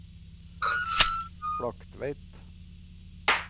Flaktveit